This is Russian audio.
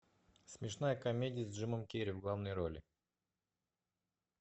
смешная комедия с джимом керри в главной роли